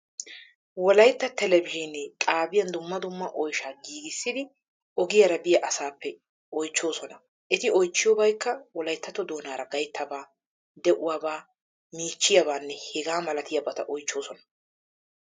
Wolayitta telebizhzhiine xaabiyan dumma dumma oyshaa giigissidi ogiyaara biya asaappe oychchoosona. Eti oychchiyoobaykka wolayttatto doonaaraa gayttabaa, de"uwaabaa, miichchiyaabaanne hegaa malatiyaabata oychchoosona.